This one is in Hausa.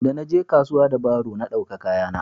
da na je kasuwa da baro na dauka kaya na